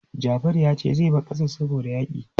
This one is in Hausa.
Jafaru ya ce zai bar ƙasar saboda yaƙi.